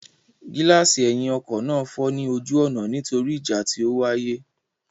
Gíláàsì ẹ̀yìn ọkọ náà fọ́ ní ojú ọ̀nà nítorí ìjà tí ó wáyé.